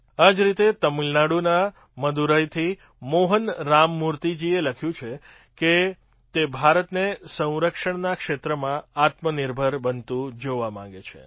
આ જ રીતે તમિલનાડુના મદુરાઈથી મોહન રામમૂર્તિજીએ લખ્યું છે કે તે ભારતને સંરક્ષણના ક્ષેત્રમાં આત્મનિર્ભર બનતું જોવા માગે છે